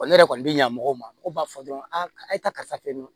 ne yɛrɛ kɔni bɛ ɲɛmɔgɔw ma mɔgɔw b'a fɔ dɔrɔn a ye taa karisa fe yen nɔ